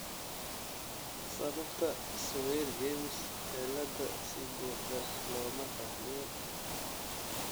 Sababta Swyer James ciilada si buuxda looma fahmin.